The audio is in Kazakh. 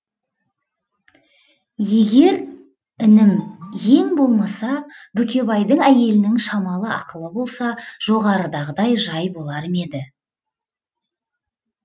егер інім ең болмаса бүкебайдың әйелінің шамалы ақылы болса жоғарыдағыдай жай болар ма еді